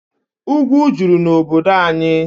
Ugwu juru n'obodo anyị.